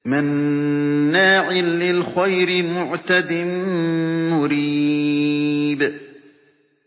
مَّنَّاعٍ لِّلْخَيْرِ مُعْتَدٍ مُّرِيبٍ